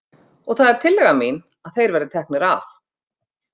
Og það er tillaga mín að þeir verði teknir af.